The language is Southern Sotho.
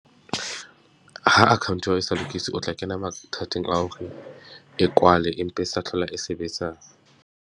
Ha account ya hao e sa lokiswe, o tla kena mathateng a hore e kwale empa e sa hlola e sebetsa.